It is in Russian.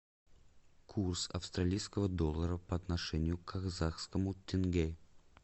курс австралийского доллара по отношению к казахскому тенге